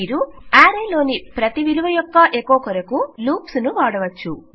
మీరు ఆరే యొక్క ప్రతీ విలువ అనుకరణఎకొ కు లూప్స్ ను వాడవచ్చు